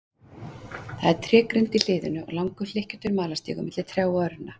Það er trégrind í hliðinu og langur hlykkjóttur malarstígur milli trjáa og runna.